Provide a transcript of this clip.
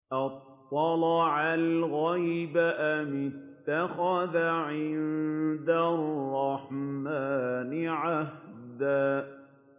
أَطَّلَعَ الْغَيْبَ أَمِ اتَّخَذَ عِندَ الرَّحْمَٰنِ عَهْدًا